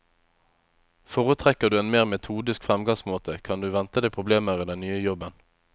Foretrekker du en mer metodisk fremgangsmåte kan du vente deg problemer i den nye jobben.